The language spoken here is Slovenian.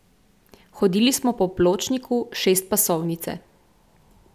Hodili smo po pločniku šestpasovnice.